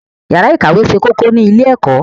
Yàrá ìkàwé ṣe kókó ní ilé-ẹ̀kọ́.